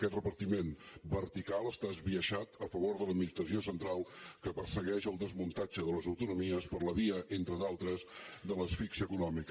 aquest repartiment vertical està esbiaixat a favor de l’administració central que persegueix el desmuntatge de les autonomies per la via entre d’altres de l’asfíxia econòmica